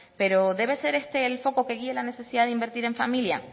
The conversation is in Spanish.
pero debe ser este el foco que guíe la necesidad de invertir en familia